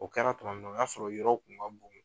O kɛra tuma min na o y'a sɔrɔ yɔrɔw kun ka bon.